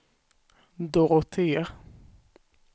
Dorotea